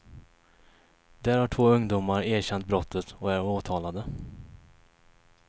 Där har två ungdomar erkänt brottet och är åtalade.